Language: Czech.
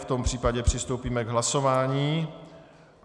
V tom případě přistoupíme k hlasování.